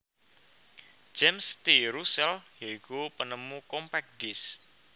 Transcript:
James T Russell ya iku penemu Compact Disc